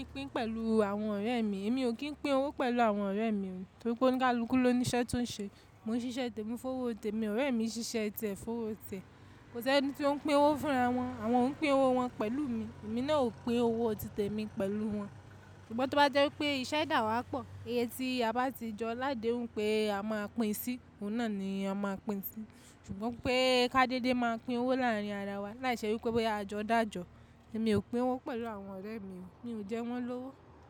Mi ò pin pẹ̀lú àwọn ọ̀rẹ́ mi, èmi ò kí ń pín owó pẹ̀lú àwọn ọ̀rẹ́ mi, torí pé ó ní àlùpùpù ló ní iṣẹ́ tó ń ṣe. Mo ń ṣiṣẹ́ tẹ́mi, fun owó tẹ́mi ọ̀rẹ́ mi ṣiṣẹ́ tiẹ́, fun owó tiẹ́. Kò sí ẹni tí ó ń pín owó fún'ra wọn, àwọn oń pín owó wọn pẹ̀lú mi, èmi náà ò pín owó títẹ́mi pẹ̀lú wọn. Ṣùgbọ́n tó bá jẹ́ wipé iṣẹ́ dáwàpọ̀, iye tí a bá ti jọ ládèún pé a máa pín sí, òun náà ni a máa pín sí. Ṣùgbọ́n pé ká dédé máa pín owó láàrín ara wa, láìṣẹ́ wípé bóyá a jọ dájọ, èmi ò pín owó pẹ̀lú àwọn ọ̀rẹ́ mi o, mi ò jẹ́ wọ́n lówó.